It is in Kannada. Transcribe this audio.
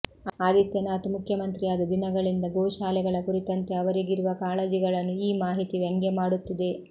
ಆದಿತ್ಯನಾಥ್ ಮುಖ್ಯಮಂತ್ರಿಯಾದ ದಿನಗಳಿಂದ ಗೋಶಾಲೆಗಳ ಕುರಿತಂತೆ ಅವರಿಗಿರುವ ಕಾಳಜಿಗಳನ್ನು ಈ ಮಾಹಿತಿ ವ್ಯಂಗ್ಯ ಮಾಡುತ್ತಿದೆ